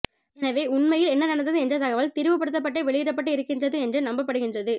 எனவே உண்மையில் என்ன நடந்தது என்ற தகவல் திரிபுபடுத்தப்பட்டே வெளியிடப்பட்டு இருக்கின்றது என்று நம்பப்படுகின்றது